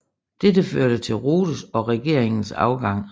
Dette førte til Rothes og regeringens afgang